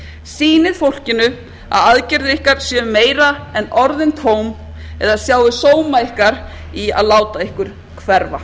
sýnið fólkinu að aðgerðir ykkar séu meira en orðin tóm eða sjáið sóma ykkar í að láta ykkur hverfa